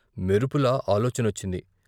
మెరుపులా ఆలోచనొచ్చింది.